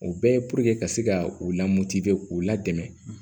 O bɛɛ ka se ka u la mɔti k'u la dɛmɛ